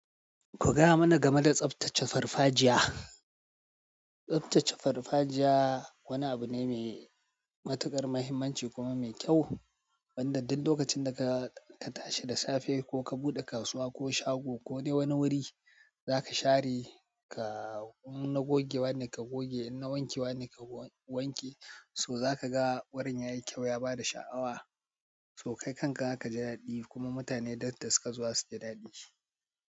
Ku gaya mana game da tsaftace farfajiya. Tsaftace farfajiya wani abu ne mai matuƙar mahimmanci kuma mai kyau. Sanda duk lokacin da ka, ka tashi da safe ko ka buɗe kasuwa ko shago ko dai wani wuri za ka share ka in na goge wani ka goge, in na wanke wani ka wanke, so za ka ga wurin ya yi kyau ya ba da sha'awa. To kai kanka za ka ji daɗikuma mutane danta suka zuwa su ji daɗi.